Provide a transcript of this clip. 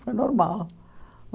Foi normal.